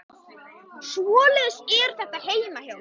Svoleiðis er þetta heima hjá mér.